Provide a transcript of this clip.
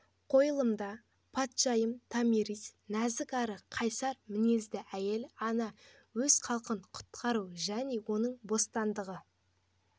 қойылымда патшайым томирис нәзік әрі қайсар мінезді әйел ана өз халқын құтқару және оның бостандығы